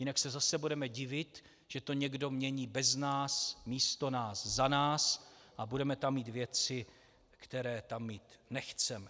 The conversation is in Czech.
Jinak se zase budeme divit, že to někdo mění bez nás, místo nás, za nás, a budeme tam mít věci, které tam mít nechceme.